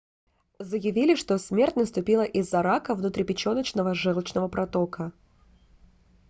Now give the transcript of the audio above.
заявили что смерть наступила из-за рака внутрипеченочного желчного протока